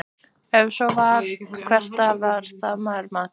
Ef svo var, hvert var það verðmat?